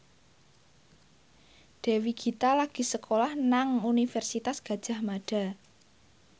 Dewi Gita lagi sekolah nang Universitas Gadjah Mada